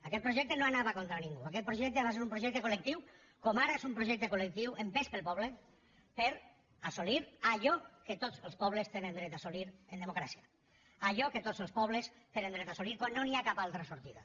aquell projecte no anava contra ningú aquell projecte va ser un projecte col·lectiu com ara és un projecte col·solir allò que tots els pobles tenen dret a assolir en democràcia allò que tots els pobles tenen dret a assolir quan no hi ha cap altra sortida